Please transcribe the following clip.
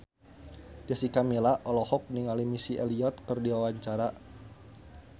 Jessica Milla olohok ningali Missy Elliott keur diwawancara